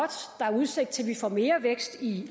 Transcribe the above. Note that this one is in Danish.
der er udsigt til at vi får mere vækst i